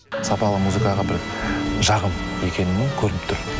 сапалы музыкаға бір жақын екені көрініп тұр